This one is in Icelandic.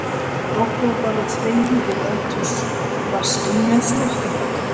Okkur var bara þvegið við eldhúsvaskinn með þvottapoka.